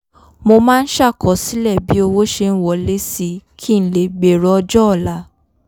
mo máa ń ṣàkọsílẹ̀ bí owó ṣe ń wọlé si kí n lè gbèrò ọjọ́ọ̀la